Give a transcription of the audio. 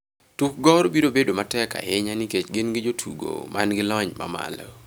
"Tuk Gor biro bedo matek ahinya nikech gin gi jotugo man gi lony mamalo."